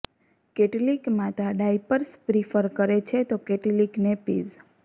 કેટલીક માતા diapers prefer કરે છે તો કેટલીક નેપીઝ